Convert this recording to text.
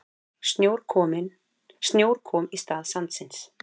Snjór kom í stað sandsins.